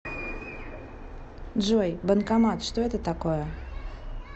джой банкомат что это такое